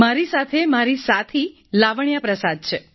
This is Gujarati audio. મારી સાથે મારી સાથી લાવણ્યા પ્રસાદ છે